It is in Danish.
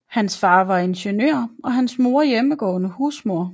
Hans far var ingeniør og hans mor hjemmegående husmor